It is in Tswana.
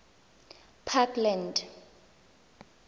parkland